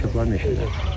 Dalaşıblar meşədə.